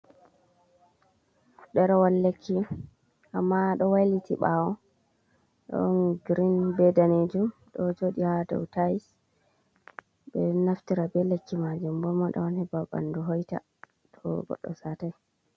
Ɗerewol lekki amma ɗo wailiti ɓawo ɗon girin be danejum, ɗo joɗi ha dow tais, ɓe naftira be lekki majum bo moɗa on heɓa ɓandu hoita to godɗo satai.